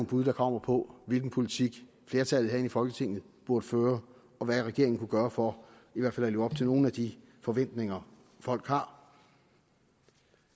bud der kommer på hvilken politik flertallet herinde i folketinget burde føre og hvad regeringen kunne gøre for i hvert fald at leve op til nogle af de forventninger folk har